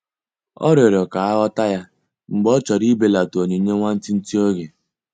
Ọ riọrọ ka aghọta ya mgbe ọ chọrọ ibelata onyinye nwantịtị oge.